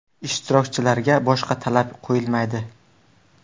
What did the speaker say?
Ishtirokchilarga boshqa talab qo‘yilmaydi.